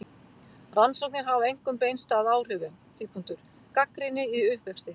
Rannsóknir hafa einkum beinst að áhrifum: Gagnrýni í uppvexti.